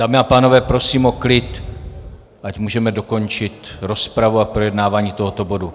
Dámy a pánové, prosím o klid, ať můžeme dokončit rozpravu a projednávání tohoto bodu.